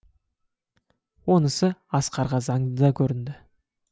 онысы асқарға заңды да көрінді